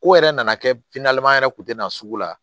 Ko yɛrɛ nana kɛ an yɛrɛ kun tɛ na sugu la